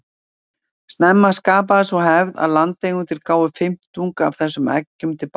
Snemma skapaðist sú hefð að landeigendur gáfu fimmtung af þessum eggjum til bágstaddra.